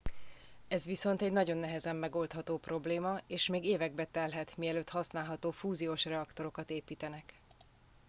ez viszont egy nagyon nehezen megoldható probléma és még évekbe telhet mielőtt használható fúziós reaktorokat építenek